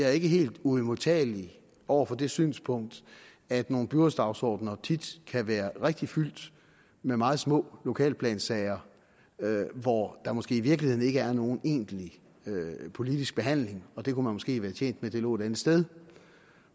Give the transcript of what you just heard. er helt uimodtagelig over for det synspunkt at nogle byrådsdagsordener tit kan være rigtig fyldt med meget små lokalplansager hvor der måske i virkeligheden ikke er nogen egentlig politisk behandling og det kunne man måske være tjent med lå et andet sted